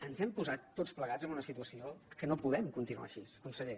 ens hem posat tots plegats en una situació que no podem continuar així conseller